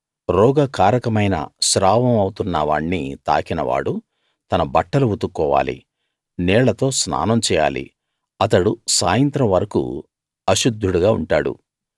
రోగ కారకమైన స్రావం అవుతున్న వాణ్ణి తాకిన వాడు తన బట్టలు ఉతుక్కోవాలి నీళ్ళతో స్నానం చేయాలి అతడు సాయంత్రం వరకూ అశుద్ధుడుగా ఉంటాడు